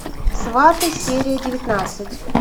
сваты серия девятнадцать